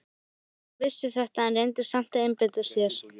Rósa vissi þetta en reyndi samt að einbeita sér.